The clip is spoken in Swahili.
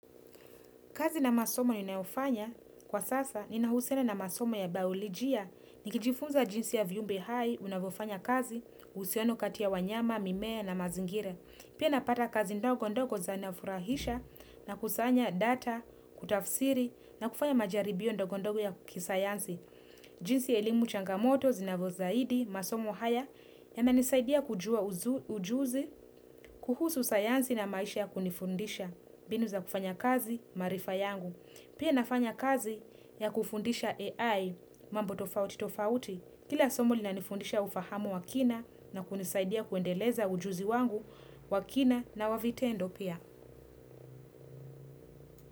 Kazi na masomo ninayofanya kwa sasa ninahusiana na masomo ya biolojia nikijifunza jinsi ya viumbe hai unavyofanya kazi, uhusiano kati ya wanyama, mimea na mazingira. Pia napata kazi ndogo ndogo zanafurahisha na kusanya data, kutafsiri na kufanya majaribio ndogo ndogo ya kisayansi. Jinsi elimu changamoto zinavyozidi, masomo haya yamenisaidia kujua ujuzi kuhusu sayansi na maisha ya kunifundisha mbinu za kufanya kazi maarifa yangu. Pia nafanya kazi ya kufundisha AI mambo tofauti tofauti kila somo linanifundisha ufahamu wa kina na kunisaidia kuendeleza ujuzi wangu wa kina na wa vitendo pia.